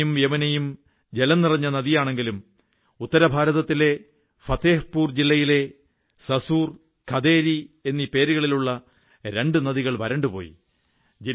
ഗംഗയും യമുനയും ജലംനിറഞ്ഞ നദിയാണെങ്കിലും ഉത്തരഭാരതത്തിലെ ഫത്തേഹ്പൂർ ജില്ലയിലെ സസുർ ഖദേരി എന്നീ പേരുകളിലുള്ള രണ്ടു നദികൾ വരണ്ടുപോയി